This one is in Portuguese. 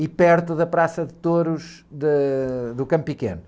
E perto da Praça de Touros de, do Campo Pequeno.